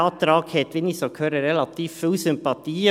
Dieser Antrag hat, wie ich so höre, relativ viele Sympathien.